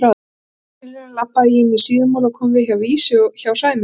Fyrir tilviljun labbaði ég inn í Síðumúla og kom við á Vísi hjá Sæmundi